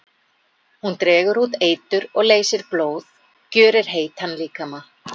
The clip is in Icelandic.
Hún dregur út eitur og leysir blóð, gjörir heitan líkama.